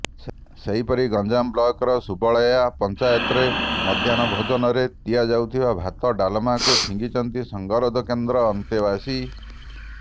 ସେହିପରି ଗଞ୍ଜାମ ବ୍ଲକର ସୁବଳୟା ପଞ୍ଚାୟତରେ ମଧ୍ୟାହ୍ନ ଭୋଜନରେ ଦିଆଯାଇଥିବା ଭାତ ଡ଼ାଲମାକୁ ଫିଙ୍ଗିଛନ୍ତି ସଙ୍ଗରୋଧ କେନ୍ଦ୍ର ଅନ୍ତେବାସୀ